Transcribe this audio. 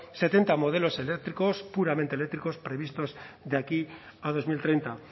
setenta modelos eléctricos puramente eléctricos previstos de aquí a dos mil treinta